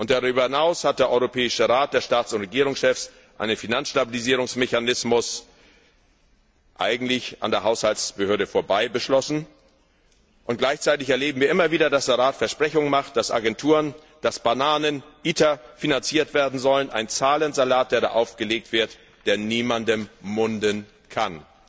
Darüber hinaus hat der Europäische Rat der Staats und Regierungschefs einen Finanzstabilisierungsmechanismus eigentlich an der Haushaltsbehörde vorbei beschlossen, und gleichzeitig erleben wir immer wieder, dass der Rat Versprechungen macht, dass Agenturen, dass Bananen, ITER finanziert werden sollen ein Zahlensalat, der da aufgelegt wird, der niemandem munden kann.